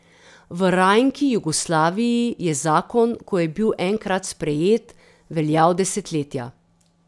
V rajnki Jugoslaviji je zakon, ko je bil enkrat sprejet, veljal desetletja.